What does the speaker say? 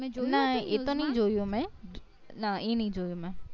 ના એ તો નય જોયું મેં ના ઈ નય જોયું મેં